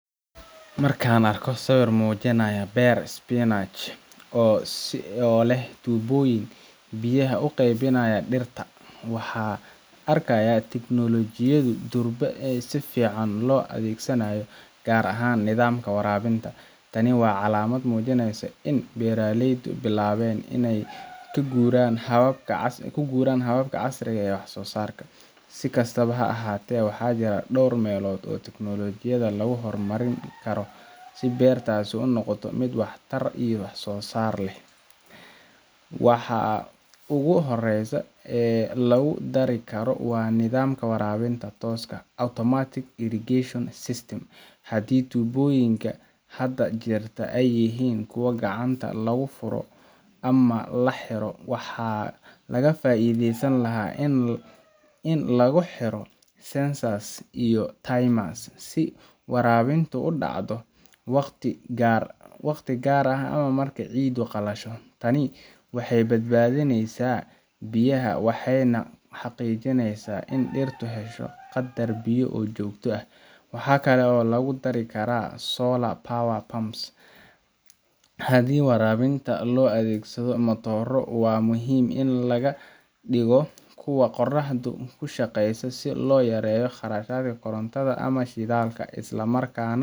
Markaan arko sawir muujinaya beer spinach oo leh tuubooyin biyaha u qaybinaya dhirta, waxaan arkayaa in tignoolajiyadu durba si fiican loo adeegsanayo, gaar ahaan nidaamka waraabinta. Tani waa calaamad muujinaysa in beeraleydu bilaabeen inay u guuraan hababka casriga ah ee wax-soo-saarka. Si kastaba ha ahaatee, waxaa jira dhowr meelood oo tignoolajiyada lagu horumarin karo si beertaasi u noqoto mid waxtar iyo wax-soo-saar leh. Waxa ugu horreeya ee lagu dari karo waa nidaamka waraabinta tooska ah automated irrigation system. Haddii tuubooyinka hadda jirta ay yihiin kuwo gacanta lagu furo ama la xiro, waxaa laga faa’iidi lahaa in lagu xiro sensors iyo timers si waraabintu u dhacdo waqtiyo gaar ah ama marka ciiddu qalasho. Tani waxay badbaadineysaa biyaha waxayna xaqiijineysaa in dhirtu hesho qadar biyo ah oo joogto ah. Waxaa kale oo lagu dari karaa solar-powered pumps– haddii waraabinta loo adeegsado matooro, waxaa muhiim ah in laga dhigo kuwa qoraxda ku shaqeeya si loo yareeyo kharashka korontada ama shidaalka, isla markaana